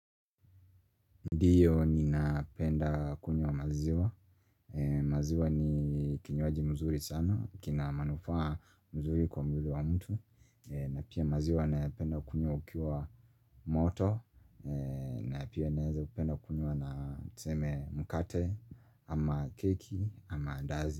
Ndiyo ni napenda kunywa maziwa maziwa ni kinywaji mzuri sana kina manufaa mzuri kwa mbili wa mtu na pia maziwa napenda kunywa ukiwa moto na pia naeza kupenda kunyo na tuseme mukate ama keki ama andazi.